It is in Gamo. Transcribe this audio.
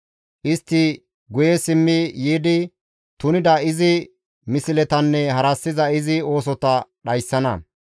«Istti guye simmi yiidi tunida izi misletanne harassiza izi oosota ta dhayssana.